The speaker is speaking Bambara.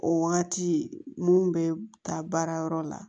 O wagati mun be taa baarayɔrɔ la